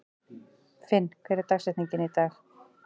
Finn, hver er dagsetningin í dag?